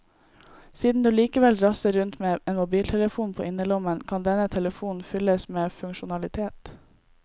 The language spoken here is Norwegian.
Siden du likevel drasser rundt med en mobiltelefon på innerlommen, kan denne telefonen fylles med funksjonalitet.